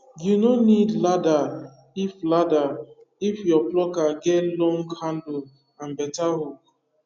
you no need ladder if ladder if your plucker get long handle and better hook